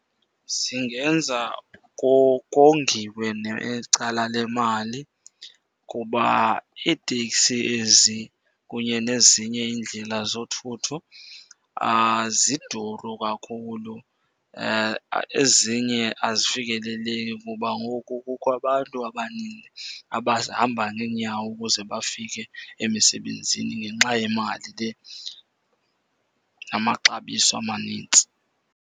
Zingenza kongiwe necala lemali kuba iitekisi ezi kunye nezinye iindlela zothutho ziduru kakhulu. Ezinye azifikeleleki kuba ngoku kukho abantu abaninzi abahamba ngeenyawo ukuze bafike emisebenzini ngenxa yemali le namaxabiso amanintsi.